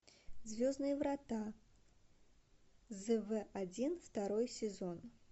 звездные врата зв один второй сезон